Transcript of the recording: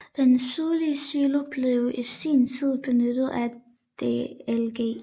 Den sydlige silo blev i sin tid benyttet af DLG